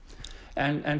en